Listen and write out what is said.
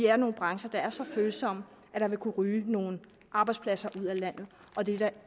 er nogle brancher der er så følsomme at der vil kunne ryge nogle arbejdspladser ud af landet og det er der